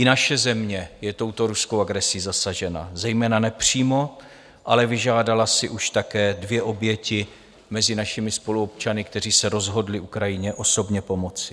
I naše země je touto ruskou agresí zasažena, zejména nepřímo, ale vyžádala si už také dvě oběti mezi našimi spoluobčany, kteří se rozhodli Ukrajině osobně pomoci.